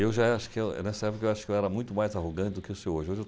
Eu já acho que, nessa época, eu acho que eu era muito mais arrogante do que eu sou hoje. Hoje eu